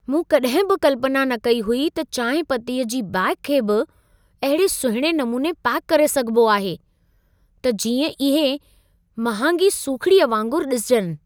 मूं कॾहिं बि कल्पना न कई हुई त चांहिं पत्तीअ जी बेग खे बि अहिड़े सुहिणे नमूने पैक करे सघिबो आहे, त जींअं इहे महांगी सूखिड़ीअ वांगुर ॾिसिजनि।